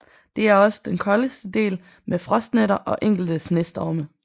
Det er også den koldeste del med frostnætter og enkelte snestorme